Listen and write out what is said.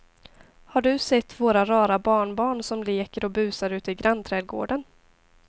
Har du sett våra rara barnbarn som leker och busar ute i grannträdgården!